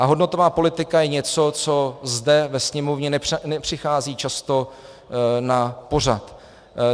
A hodnotová politika je něco, co zde ve Sněmovně nepřichází často na pořad.